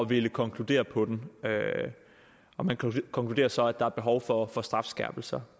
ville konkludere på den og man konkluderer så at der er behov for for strafskærpelser